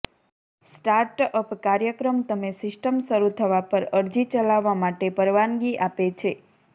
startup કાર્યક્રમ તમે system શરૂ થવા પર અરજી ચલાવવા માટે પરવાનગી આપે છે